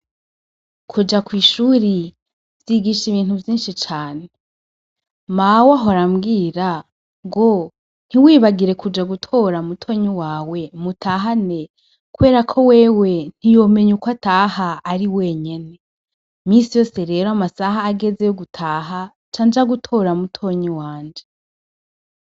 kuja kwishuri, vyigisha ibintu vyinshi cane. Mawe ahora ambwira, ngo, ntiwibagire kuja gutora mutonyi wawe mutahane, kuberako wewe ntiyomenya ukwataha ari wenyene . Imisi yose rero amasaha ageze yo gutaha, ncanja gutora mutonyi wanje.